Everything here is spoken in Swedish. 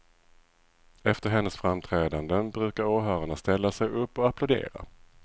Efter hennes framträdanden brukar åhörarna ställa sig upp och applådera.